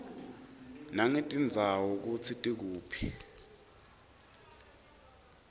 nangetindzawo kutsi tikuphi